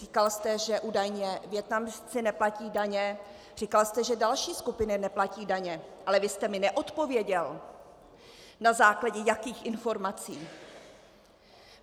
Říkal jste, že údajně Vietnamci neplatí daně, říkal jste, že další skupiny neplatí daně, ale vy jste mi neodpověděl, na základě jakých informací!